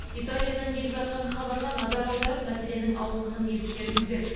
италиядан келіп жатқан хабарға назар аударып мәселенің ауқымын ескеріңіздер